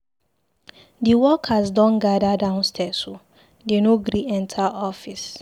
Di workers don gather downstirs o, dey no gree enter office.